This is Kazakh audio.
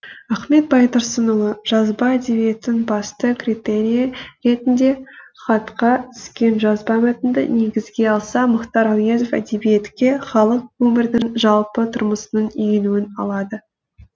ахмет байтұрсынұлы жазба әдебиеттің басты критерийі ретінде хатқа түскен жазба мәтінді негізге алса мұхтар әуезов әдебиетке халық өмірдің жалпы тұрмысының енуін алады